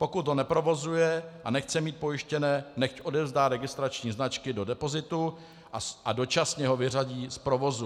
Pokud ho neprovozuje a nechce mít pojištěné, nechť odevzdá registrační značky do depozitu a dočasně ho vyřadí z provozu.